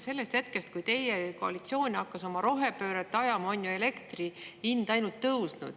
Sellest hetkest, kui teie koalitsioon hakkas oma rohepööret ajama, on ju elektri hind ainult tõusnud.